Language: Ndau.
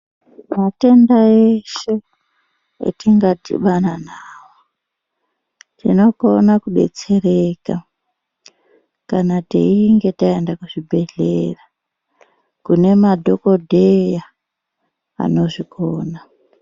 Matenda eshe etingadhibana nawo tinokona kudetsereka kana teinge taenda kuzvibhedhlera kune madhokodheya anozvikona.